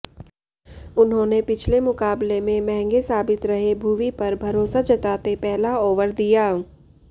उन्होंने पिछले मुकाबले में महंगे साबित रहे भुवी पर भरोसा जताते पहला ओवर दिया